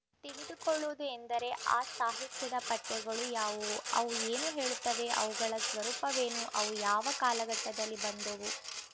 ತಿಳಿದುಕೊಳ್ಳುವುದು ಎಂದರೆ ಆ ಸಾಹಿತ್ಯದ ಪಠ್ಯಗಳು ಯಾವುವು ಅವು ಏನು ಹೇಳುತ್ತವೆ ಅವುಗಳ ಸ್ವರೂಪವೇನು ಅವು ಯಾವ ಕಾಲಘಟ್ಟದಲ್ಲಿ ಬಂದುವು